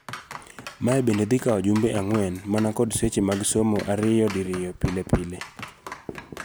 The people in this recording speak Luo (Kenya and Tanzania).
Mae bende dhi kawo jumbe ang'wen man kod seche mag somo ariyo diriyo pile pile.